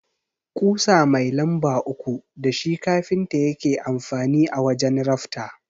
Ƙusa mai lamba uku dashi kafinta yake amfani a wajan rafta.